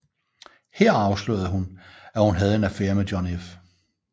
Her afslørede hun at hun havde en affære med John F